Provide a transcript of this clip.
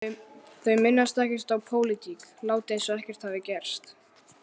Þau minnast ekkert á pólitík, láta eins og ekkert hafi gerst.